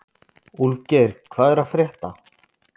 Úlfgeir, hvað er að frétta?